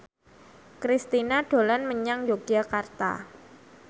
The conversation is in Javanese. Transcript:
Kristina dolan menyang Yogyakarta